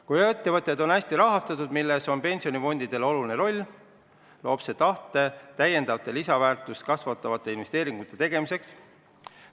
Kui ettevõtted on hästi rahastatud – ja selles on pensionifondidel oluline roll –, loob see tahte täiendavate lisandväärtust kasvatavate investeeringute tegemiseks.